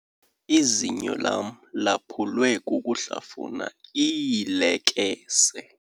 Izinyo lam laphulwekukuhlafuna iilekese.